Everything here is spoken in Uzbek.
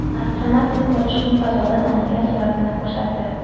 Astronavt kun botishining fazodan olingan suratini ko‘rsatdi .